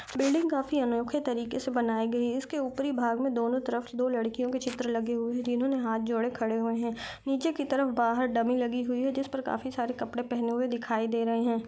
Building काफ़ी अनोखे तरीके से बनाए गए है इसके उपरी भाग में दोनों तरफ दो लड़कियों के चित्र लगे हुए है जिन्होंने हाथ जोड़े खरे हुए है नीचे की तरफ काफ़ी डमी लगी हुई है जिस पर काफ़ी सारे कपड़े पहने हुए दिखाई दे रहे हैं।